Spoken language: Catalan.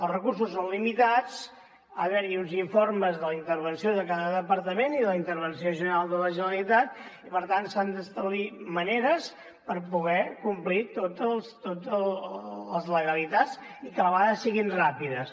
els recursos són limitats hi ha d’haver uns informes de la intervenció de cada departament i de la intervenció general de la generalitat i per tant s’han d’establir maneres per poder complir totes les legalitats i que a la vegada siguin ràpides